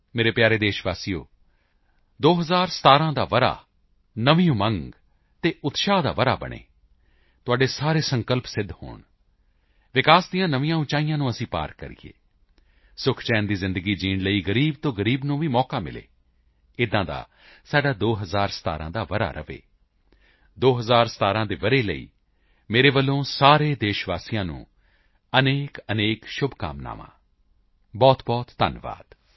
ਮੇਰੇ ਪਿਆਰੇ ਦੇਸ਼ ਵਾਸੀਓ 2017 ਦਾ ਸਾਲ ਨਵੀਂ ਉਮੰਗ ਅਤੇ ਉਤਸ਼ਾਹ ਦਾ ਸਾਲ ਬਣੇ ਤੁਹਾਡੇ ਸਾਰੇ ਸੰਕਲਪ ਸਿੱਧ ਹੋਣ ਵਿਕਾਸ ਦੇ ਨਵੇਂ ਸਿਖ਼ਰ ਅਸੀਂ ਪਾਰ ਕਰੀਏ ਸੁਖਚੈਨ ਦੀ ਜ਼ਿੰਦਗੀ ਜਿਊਣ ਲਈ ਗ਼ਰੀਬ ਤੋਂ ਗ਼ਰੀਬ ਨੂੰ ਮੌਕਾ ਮਿਲੇ ਅਜਿਹਾ ਸਾਡਾ 2017 ਦਾ ਸਾਲ ਰਹੇ 2017 ਦੇ ਸਾਲ ਲਈ ਮੇਰੇ ਵੱਲੋਂ ਸਾਰੇ ਦੇਸ਼ ਵਾਸੀਆਂ ਨੂੰ ਅਨੇਕਅਨੇਕ ਸ਼ੁਭਕਾਮਨਾਵਾਂ ਬਹੁਤਬਹੁਤ ਧੰਨਵਾਦ